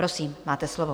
Prosím, máte slovo.